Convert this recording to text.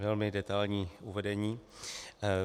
Velmi detailní uvedení.